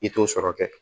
I t'o sɔrɔ kɛ